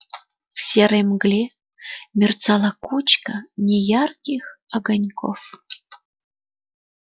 в серой мгле мерцала кучка неярких огоньков